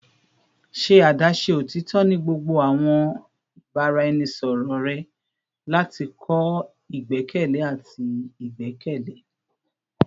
Ṣe adaṣe otitọ ni gbogbo awọn ibaraẹnisọrọ rẹ lati kọ igbẹkẹle ati igbẹkẹle